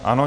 Ano.